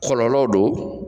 Kɔlɔlɔ do.